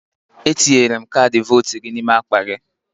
Etinyere m kaadị votu gị n'ime akpa gị.